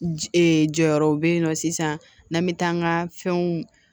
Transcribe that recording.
Jɔyɔrɔw bɛ yen nɔ sisan n'an bɛ taa an ka fɛnw